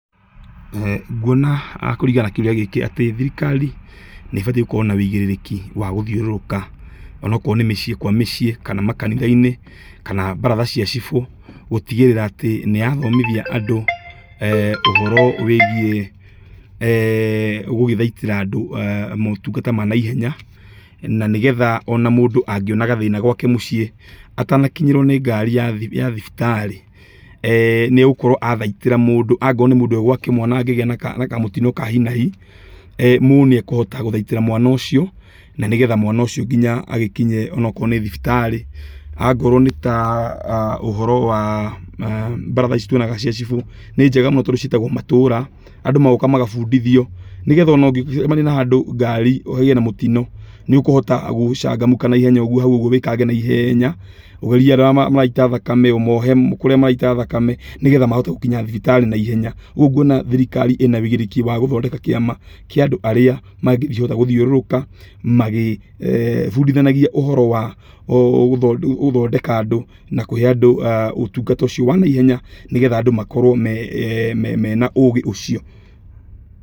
Nguona kũringana na kĩũria gĩkĩ atĩ thirikari nĩ ĩbatiĩ gũkorwo na wũigĩrĩrĩki wa gũthiũrũrũka ona okorwo nĩ mĩciĩ kwa mĩciĩ ,kana makanitha-inĩ kana, baratha cia cibũ gũtigĩrĩra atĩ nĩyathomithia andũ ũhoro wĩigiĩ gũgĩthaitĩra andũ motungata ma naihenya na nĩgetha ona mũndũ angĩona gathĩna gwake mũciĩ, atanakinyĩrwo nĩ ngari ya thibitarĩ nĩ egũkorwo athaitĩra mũndũ. Angorwo nĩ mũndũ e gwake mwana angĩgĩa na kamũtino ka hi na hi ,mũndũ nĩ ekũhota gũthaitĩra mwana ũcio na nĩgetha mwana ũcio agĩkinye onokorwo nĩ thibitarĩ. Angorwo nĩ ta ũhoro wa baratha ici tuonaga cia cibũ, nĩ njega mũno tondũ ciĩtagwo matũũra andũ magoka magabundithio nĩgetha ona ũngĩcemania na handũ ngari ĩgĩe na mũtino nĩũkũhota gũchangamka naihenya ũgwo hau ũgwo wĩkange naihenya ũgerie andũ arĩa maraita thakame ũmohe kurĩa maraita thakame nĩgetha mahote gũkinya thibitarĩ na ihenya. Ũguo nguona thirikarĩ ĩna wĩigĩrĩrĩki wa gũthondeka kĩama kĩa andũ arĩa mangĩhota gũthiũrũrũka magĩbundithanagĩa ũhoro wa gũthondeka andũ na kũhe andũ ũtungata ũcio wa naihenya nĩgetha andũ makorwo mena ũgĩ ũcio.